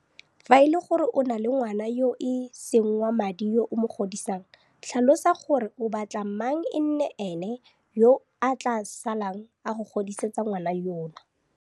Fa e le gore o na le ngwana yo e seng wa madi yo o mo godisang, tlhalosa gore o batla mang e nne ene yo a tla salang a go godisetsa ngwana yono.